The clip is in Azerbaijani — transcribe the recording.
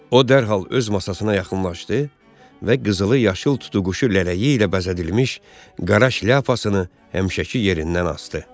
O dərhal öz masasına yaxınlaşdı və qızılı-yaşıl tutuquşu lələyi ilə bəzədilmiş qara şlyapasını həmişəki yerindən asdı.